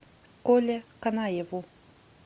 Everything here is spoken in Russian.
коле канаеву